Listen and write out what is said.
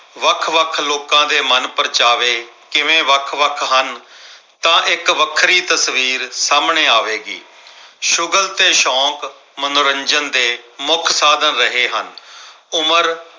ਵੱਖ-ਵੱਖ ਲੋਕਾਂ ਦੇ ਮਨਪ੍ਰਚਾਵੇ ਕਿਵੇਂ ਵੱਖ-ਵੱਖ ਹਨ। ਤਾਂ ਇੱਕ ਵੱਖਰੀ ਤਸਵੀਰ ਸਾਹਮਣੇ ਆਵੇਗੀ। ਸ਼ੁਗਲ ਤੇ ਸ਼ੌਕ ਮਨੋਰੰਜਨ ਦੇ ਮੁੱਖ ਸਾਧਨ ਰਹੇ ਹਨ। ਉਮਰ